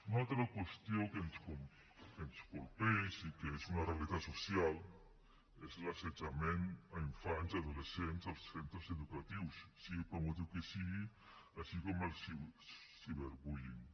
una altra qüestió que ens colpeix i que és una realitat social és l’assetjament a infants i adolescents als centres educatius sigui pel motiu que sigui així com el cyberbullying